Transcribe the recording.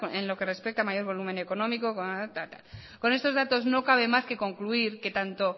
en lo que respecta a mayor volumen económico tal y tal con estos datos no cabe más que concluir que tanto